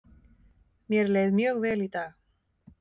Mér leið mjög vel í dag.